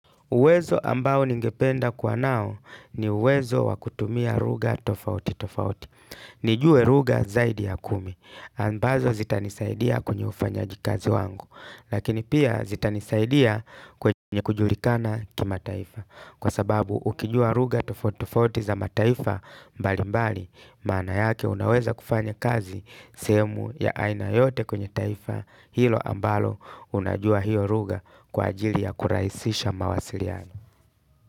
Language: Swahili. Uwezo ambao ningependa kwa nao ni uwezo wakutumia lugha tofauti tofauti. Nijue lugha zaidi ya kumi. Ambazo zitanisaidia kwenye ufanyaji kazi wangu. Lakini pia zitanisaidia kwenye kujulikana kimataifa. Kwa sababu ukijua lugha tofauti tofauti za mataifa mbali mbali. Maana yake unaweza kufanya kazi sehemu ya aina yote kwenye taifa hilo ambalo. Unajua hiyo lugha kwa ajili ya kurahisisha mawasiliano.